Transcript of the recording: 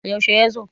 yaushe ya zo?